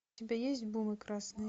у тебя есть красные